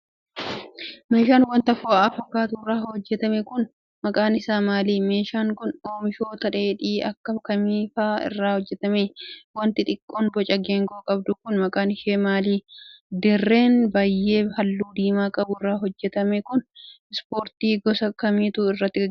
Meeshaan wanta fo'aa fakkaatu irraa hojjatame kun, maqaan isaa maali? Meeshaan kun, oomishoota dheedhii akka kamii faa irraa hojjatame? Wanti xiqqoon boca geengoo qabdu kun ,maqaan ishee maali? Dirreen biyyee haalluu diimaa qabu irraa hojjatame kun, ispoortii gosa kamiitu irratti gaggeeffama?